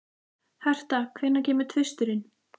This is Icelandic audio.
Hertha, hvenær kemur tvisturinn?